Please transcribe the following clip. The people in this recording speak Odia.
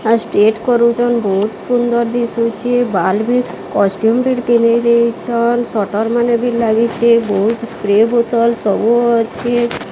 ଆ ଷ୍ଟେଟ କରୁଚନ ବୋହୁତ ସୁନ୍ଦର ଦିଶୁଚି ବାଲ୍ ବି କଷ୍ଟ୍ୟୁମ୍ ଫିର ପିନ୍ଧେଇ ଦେଇଚନ। ସଟର ମାନେ ବି ଲାଗିଚେ। ବୋହୁତ ସ୍ପ୍ରେ ବୋତଲ ସବୁ ଅଛି।